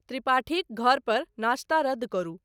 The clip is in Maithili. त्रिपाठीक घर पर नाश्ता रद्द करू।